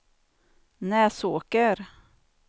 Näsåker